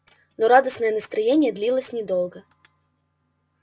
но радостное настроение длилось недолго